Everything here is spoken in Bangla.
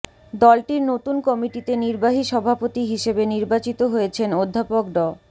দলটির নতুন কমিটিতে নির্বাহী সভাপতি হিসেবে নির্বাচিত হয়েছেন অধ্যাপক ড